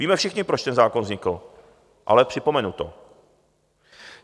Víme všichni, proč ten zákon vznikl, ale připomenu to.